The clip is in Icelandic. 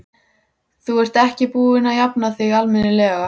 Þú ert ekki búin að jafna þig almennilega!